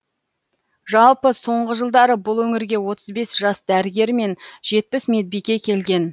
жалпы соңғы жылдары бұл өңірге отыз бес жас дәрігер мен жетпіс медбике келген